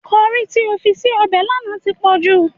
Kọrí tí o fi sí ọbẹ̀ lánàá ti pòjù.